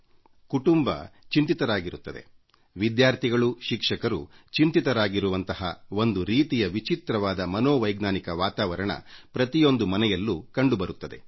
ಸಮಸ್ಯೆಗೆ ಸಿಲುಕಿದ ಕುಟುಂಬಗಳು ಕಿರುಕುಳ ಅನುಭವಿಸುವ ವಿದ್ಯಾರ್ಥಿಗಳುಚಿಂತಾಕ್ರಾಂತರಾದ ಶಿಕ್ಷಕರು ಒಂದು ರೀತಿಯ ವಿಚಿತ್ರವಾದ ಮನೋವೈಜ್ಞಾನಿಕ ವಾತಾವರಣ ಪ್ರತಿಯೊಂದು ಮನೆಯಲ್ಲೂ ಕಂಡುಬರುತ್ತದೆ